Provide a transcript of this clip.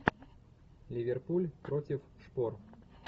ливерпуль против шпор